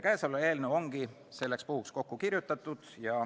Käesolev eelnõu ongi selleks puhuks kokku kirjutatud.